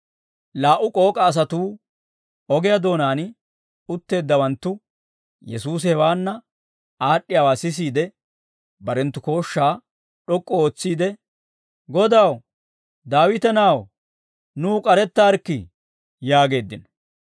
Laa"u k'ook'a asatuu ogiyaa doonaan utteeddawanttu Yesuusi hewaanna aad'd'iyaawaa sisiide, barenttu kooshshaa d'ok'k'u ootsiide, «Godaw, Daawita na'aw, nuw k'arettaarikkii» yaageeddino.